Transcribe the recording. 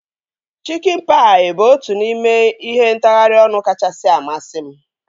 Chikin paị bụ otu n'ime ihe ntagharị ọnụ kachasị amasị m